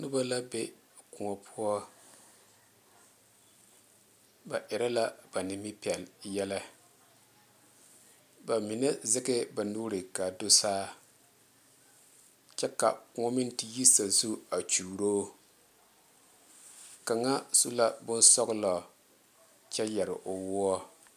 Noba la be kõɔ poɔ ba erɛ la ba nimipɛle yɛllɛ ba mine zage ba nuure kaa do saa kyɛ ka kõɔ meŋ te yi sa zu a kyuuro kaŋa su la bonsɔglɔ kyɛ yere o woɔ.